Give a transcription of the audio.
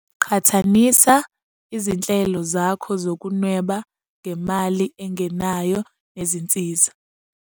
Qhathanisa izinhlelo zakho zokunweba ngemali engenayo nezinsiza.